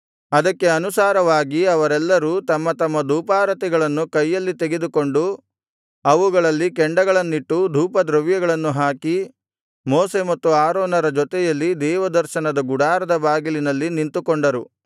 ಅದಕ್ಕೆ ಅನುಸಾರವಾಗಿ ಅವರೆಲ್ಲರೂ ತಮ್ಮ ತಮ್ಮ ಧೂಪಾರತಿಗಳನ್ನು ಕೈಯಲ್ಲಿ ತೆಗೆದುಕೊಂಡು ಅವುಗಳಲ್ಲಿ ಕೆಂಡಗಳನ್ನಿಟ್ಟು ಧೂಪದ್ರವ್ಯಗಳನ್ನು ಹಾಕಿ ಮೋಶೆ ಮತ್ತು ಆರೋನರ ಜೊತೆಯಲ್ಲಿ ದೇವದರ್ಶನದ ಗುಡಾರದ ಬಾಗಿಲಿನಲ್ಲಿ ನಿಂತುಕೊಂಡರು